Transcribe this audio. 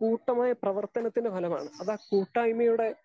കൂട്ടമായ പ്രവർത്തനത്തിൻ്റെ ഫലമാണ്. അത് ആ കൂട്ടായ്മയുടെ